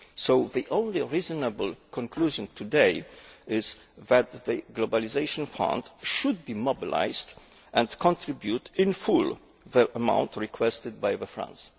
So the only reasonable conclusion today is that the Globalisation Fund should be mobilised and should contribute in full the amount requested by France.